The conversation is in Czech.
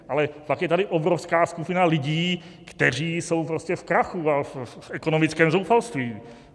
Ale pak je tady obrovská skupina lidí, kteří jsou prostě v krachu a v ekonomickém zoufalství.